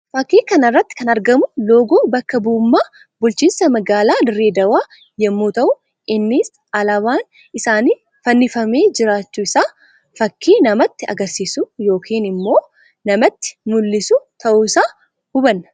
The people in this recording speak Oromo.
Fakkii kana irratti kan argamu loogoo bakka bu'ummaa bulchiisa magaalaa Dirree Dhawwaa yammuu ta'u. Innis alaabaan isaanii fannifamee jiraachuu isaa fakkii namatti agarsiisu yookiin immoo namatti mul'isu ta'uu isaa hubanna.